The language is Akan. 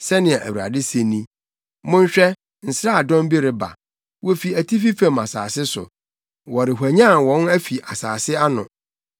Sɛnea Awurade se ni: “Monhwɛ, nsraadɔm bi reba, wofi atifi fam asase so; wɔrehwanyan wɔn afi nsase ano.